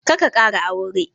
Karka ƙara aure.